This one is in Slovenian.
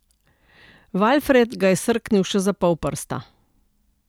Valfred ga je srknil še za pol prsta.